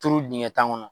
Turu dingɛ tan kɔnɔ